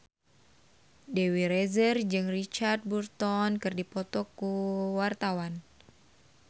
Dewi Rezer jeung Richard Burton keur dipoto ku wartawan